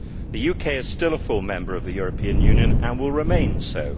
The UK is still a full member of the European Union and will remain so.